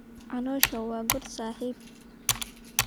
Caloosha waa god saaxiib